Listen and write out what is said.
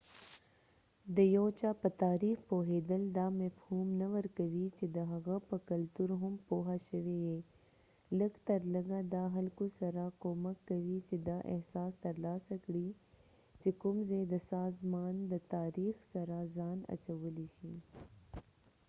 د یو چا په تاریخ پوهیدل دا مفهوم نه ورکوي چې د هغه په کلتور هم پوهه شوي یې لږ تر لږه دا خلکو سره کومک کوي چې دا احساس تر لاسه کړي چې کوم ځای د سازمان د تاریخ سره ځان اچولی شي